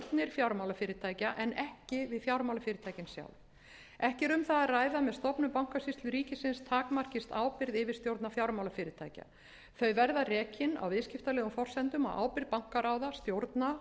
fjármálafyrirtækja en ekki við fjármálafyrirtækin sjálf ekki er um það að ræða að með stofnun bankasýslu ríkisins takmarkist ábyrgð yfirstjórna fjármálafyrirtækja þau verða rekin á viðskiptalegum forsendum á ábyrgð bankaráða stjórna